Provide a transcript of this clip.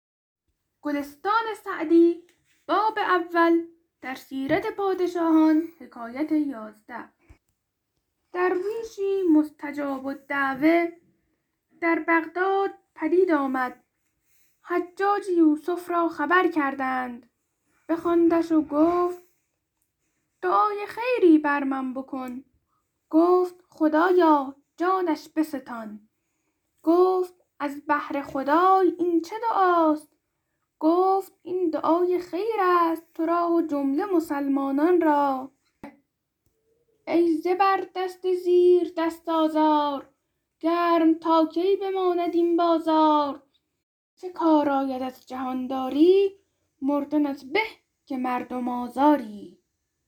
درویشی مستجاب الدعوة در بغداد پدید آمد حجاج یوسف را خبر کردند بخواندش و گفت دعای خیری بر من بکن گفت خدایا جانش بستان گفت از بهر خدای این چه دعاست گفت این دعای خیر است تو را و جمله مسلمانان را ای زبردست زیردست آزار گرم تا کی بماند این بازار به چه کار آیدت جهانداری مردنت به که مردم آزاری